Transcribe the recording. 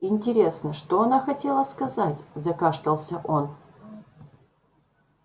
интересно что она хотела сказать закашлялся он